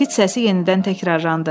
Fit səsi yenidən təkrarlandı.